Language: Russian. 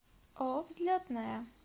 ооо взлетная